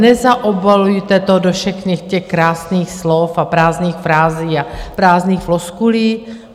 Nezaobalujte to do všech těch krásných slov a prázdných frází a prázdných floskulí.